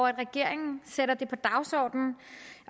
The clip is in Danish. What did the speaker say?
og at regeringen sætter det på dagsordenen